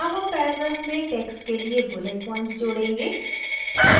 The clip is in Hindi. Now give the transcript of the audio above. add हम paragraph में text के लिए bullet points जोड़ेंगे